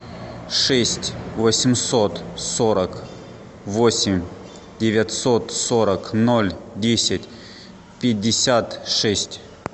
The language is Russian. шесть восемьсот сорок восемь девятьсот сорок ноль десять пятьдесят шесть